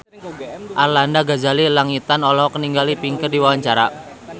Arlanda Ghazali Langitan olohok ningali Pink keur diwawancara